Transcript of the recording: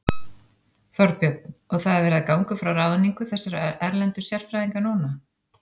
Þorbjörn: Og það er verið að ganga frá ráðningu þessara erlendu sérfræðinga núna?